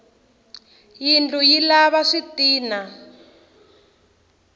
yindlu yi lava switina